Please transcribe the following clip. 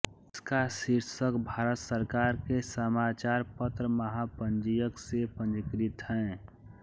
इसका शीर्षक भारत सरकार के समाचार पत्र महापंजीयक से पंजीकृत है